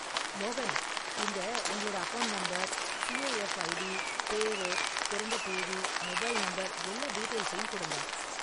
மோகன், இங்க உங்களோட account number, C A F ID, பேரு, பிறந்த தேதி, மொபைல் நம்பர் எல்லா டீடெயில்ஸையும் கொடுங்க.